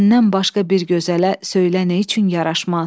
Səndən başqa bir gözələ söylə neçün yaraşmaz?